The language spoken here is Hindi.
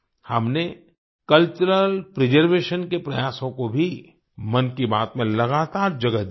हमने कल्चरल प्रिजर्वेशन के प्रयासों को भी मन की बात में लगातार जगह दी है